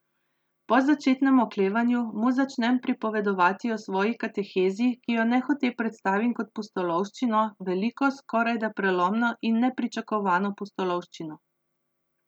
Po začetnem oklevanju mu začnem pripovedovati o svoji katehezi, ki jo nehote predstavim kot pustolovščino, veliko, skorajda prelomno in nepričakovano pustolovščino.